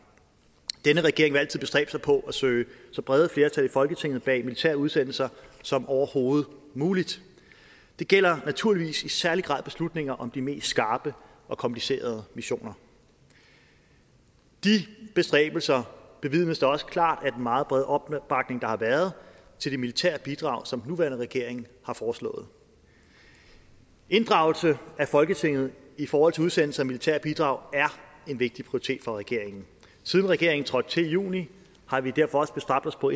denne regering vil altid bestræbe sig på at søge så brede flertal i folketinget bag militære udsendelser som overhovedet muligt det gælder naturligvis i særlig grad beslutninger om de mest skarpe og komplicerede missioner de bestræbelser bevidnes da også klart af meget brede opbakning der har været til det militære bidrag som den nuværende regering har foreslået inddragelse af folketinget i forhold til udsendelse af militære bidrag er en vigtig prioritet for regeringen siden regeringen trådte til i juni har vi derfor også bestræbt os på